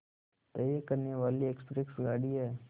तय करने वाली एक्सप्रेस गाड़ी है